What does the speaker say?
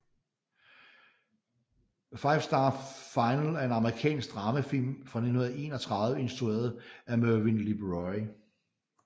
Five Star Final er en amerikansk dramafilm fra 1931 instrueret af Mervyn LeRoy